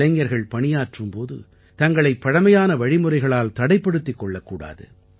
இளைஞர்கள் பணியாற்றும் போது தங்களைப் பழமையான வழிமுறைகளால் தடைப்படுத்திக் கொள்ளக் கூடாது